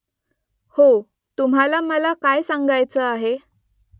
हो तुम्हाला मला काय सांगायचं आहे ?